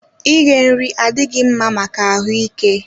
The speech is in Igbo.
Ighe nri adịghị mma maka ahụ ike